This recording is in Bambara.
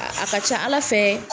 A ka ca Ala fɛ